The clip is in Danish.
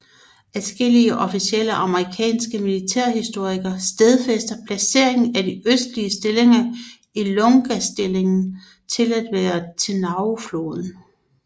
Adskillige officielle amerikanske militærhistorier stedfæster placeringen af de østlige stillinger i Lungastillingen til at være ved Tenarufloden